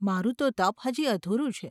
મારું તો ત૫ હજી અધૂરું છે.